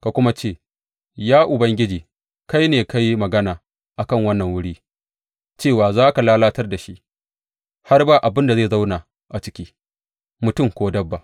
Ka kuma ce, Ya Ubangiji, kai ne ka yi magana a kan wannan wuri, cewa za ka lalatar da shi, har ba abin da zai zauna a ciki, mutum ko dabba.